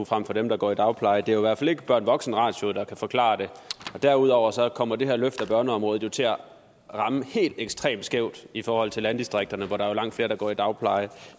frem for dem der går i dagpleje det er jo i hvert fald ikke børn voksen ratioen der kan forklare det derudover kommer det her løft af børneområdet til at ramme helt ekstremt skævt i forhold til landdistrikterne hvor der jo er langt flere der går i dagpleje